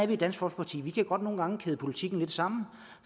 vi i dansk folkeparti vi kan godt nogle gange kæde politikken lidt sammen